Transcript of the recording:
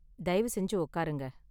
தயவு செஞ்சு உக்காருங்க.